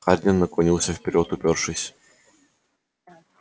хардин наклонился вперёд упёршись